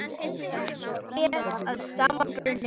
Allt ber að sama brunni.